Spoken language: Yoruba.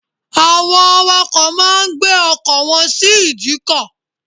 Àwọn awakọ̀ má a ń gbé ọkọ̀ wọn sí ìdíkọ̀